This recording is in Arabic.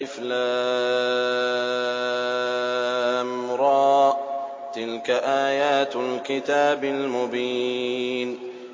الر ۚ تِلْكَ آيَاتُ الْكِتَابِ الْمُبِينِ